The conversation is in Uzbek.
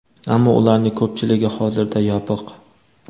Ammo ularning ko‘pchiligi hozirda yopiq.